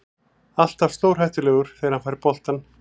Alltaf stórhættulegur þegar hann fær boltann.